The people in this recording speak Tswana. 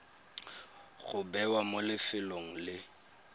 go bewa mo lefelong le